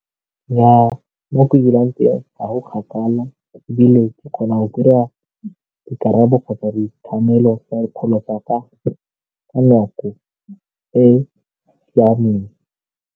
Nnyaa, mo ke dulang teng ga go kgakala ebile ke kgona go dira dikarabo kgotsa ditlamelo tsa dipholo tsa ka ka nako e siameng.